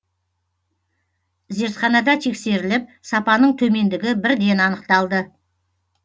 зертханада тексеріліп сапаның төмендігі бірден анықталды